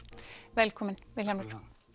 velkominn Vilhjálmur